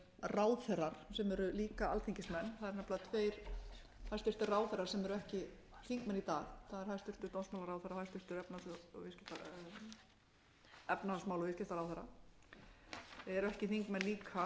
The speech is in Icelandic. ráðherrar sem eru líka alþingismenn það eru nefnilega tveir hæstvirtir ráðherrar sem eru ekki þingmenn í dag það er hæstvirtur dómsmálaráðherra og hæstvirtur efnahagsmála og viðskiptaráðherra eru ekki þingmenn